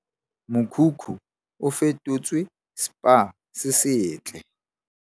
Mokhukhu o fetotswe Spa se setle.